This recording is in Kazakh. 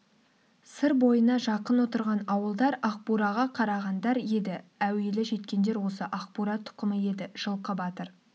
сыр бойына жақын отырған ауылдар ақбураға қарағандар еді әуелі жеткендер осы ақбура тұқымы еді жылқы батыр